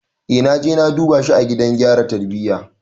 Eh naje na duba shi a gidan gyara tarbiyya.